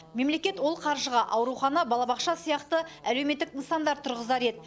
мемлекет ол қаржыға аурухана балабақша сияқты әлеуметтік нысандар тұрғызар еді